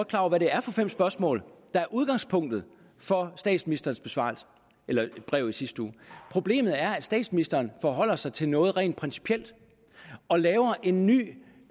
klar over hvad det er for fem spørgsmål der er udgangspunktet for statsministerens brev i sidste uge problemet er at statsministeren forholder sig til noget rent principielt og laver en ny